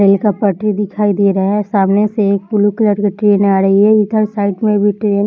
rail का पटरी दिखाई दे रहा है सामने से एक ब्लू कलर के ट्रेन आ रही है इधर साइड में भी ट्रेन --